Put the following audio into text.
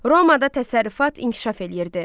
Romada təsərrüfat inkişaf eləyirdi.